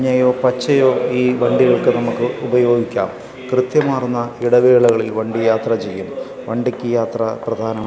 മഞ്ഞയോ പച്ചയോ ഈ വണ്ടികൾക്ക് നമുക്ക് ഉപയോഗിക്കാം കൃത്യമാർന്ന ഇടവേളകളിൽ വണ്ടി യാത്ര ചെയ്യുന്ന വണ്ടിക്ക് യാത്ര പ്രധാനമാ--